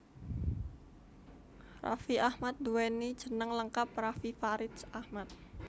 Raffi Ahmad nduwéni jeneng lengkap Raffi Faridz Ahmad